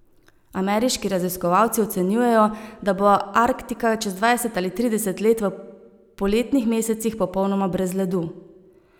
Ameriški raziskovalci ocenjujejo, da bo Arktika čez dvajset ali trideset let v poletnih mesecih popolnoma brez ledu.